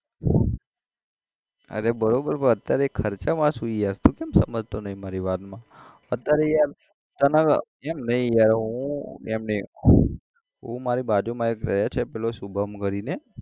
અરે બરોબર પણ અત્યારે ખર્ચામાં છું યાર તું ચમ સમજતો નઈ મારી વાતમાં અત્યારે યાર તને યાર એમ નઈ હવે હું એમ નઈ હું મારી બાજુમાં એક રહે છે પેલો શુભમ કરીને